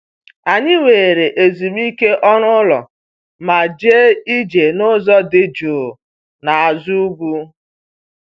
Anyị were ezumike ọrụ ụlọ ma jee ije n'ụzọ dị jụụ n'azụ ugwu